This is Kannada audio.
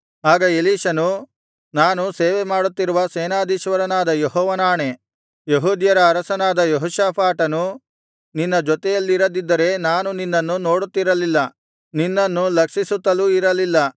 ಆಗ ಎಲೀಷನು ನಾನು ಸೇವೆಮಾಡುತ್ತಿರುವ ಸೇನಾಧೀಶ್ವರನಾದ ಯೆಹೋವನಾಣೆ ಯೆಹೂದ್ಯರ ಅರಸನಾದ ಯೆಹೋಷಾಫಾಟನು ನಿನ್ನ ಜೊತೆಯಲ್ಲಿರದಿದ್ದರೆ ನಾನು ನಿನ್ನನ್ನು ನೋಡುತ್ತಿರಲಿಲ್ಲ ನಿನ್ನನ್ನು ಲಕ್ಷಿಸುತ್ತಲೂ ಇರಲಿಲ್ಲ